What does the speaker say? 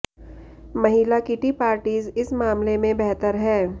महिला kitty parties इस मामले में बेहतर हैं